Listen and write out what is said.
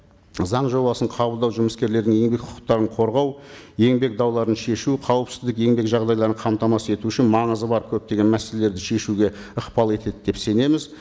заң жобасын қабылдау жұмыскерлердің еңбек құқықтарын қорғау еңбек дауларын шешу қауіпсіздік еңбек жағдайларын қамтамасыз ету үшін маңызы бар көптеген мәселелерді шешуге ықпал етеді деп сенеміз